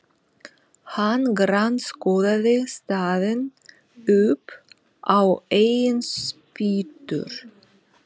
Hann grandskoðaði staðinn upp á eigin spýtur.